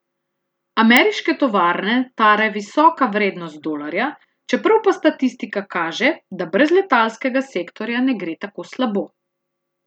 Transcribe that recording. Ameriške tovarne tare visoka vrednost dolarja, čeprav pa statistika kaže, da brez letalskega sektorja ne gre tako slabo.